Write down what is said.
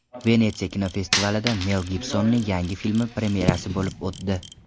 Venetsiya kinofestivalida Mel Gibsonning yangi filmi premyerasi bo‘lib o‘tdi.